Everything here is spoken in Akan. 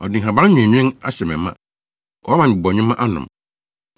Ɔde nhaban nweenwen ahyɛ me ma. Wama me bɔnwoma anom.